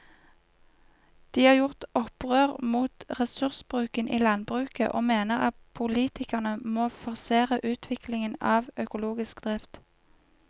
De har gjort opprør mot ressursbruken i landbruket og mener at politikerne må forsere utviklingen av økologisk drift.